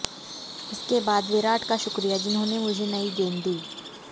इसके बाद विराट का शुक्रिया जिन्होंने मुझे नई गेंद दी